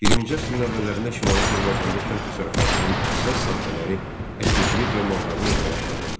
20-ci əsrin əvvəllərində Şimali Azərbaycanda kənd təsərrüfatının əsas sahələri əkinçilik və maldarlıq olaraq qalırdı.